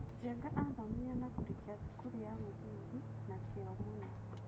Njenga athomire na kũrĩkia thukuru ya mũthingi na kĩo mũno.